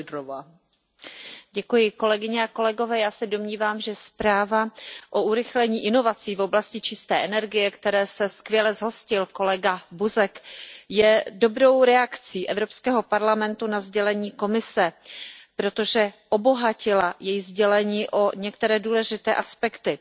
Paní předsedající, já se domnívám, že zpráva o urychlení inovací v oblasti čisté energie, které se skvěle zhostil kolega Buzek, je dobrou reakcí Evropského parlamentu na sdělení Komise, protože obohatila její sdělení o některé důležité aspekty.